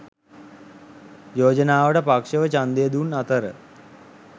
යෝජනාවට පක්ෂව ඡන්දය දුන් අතර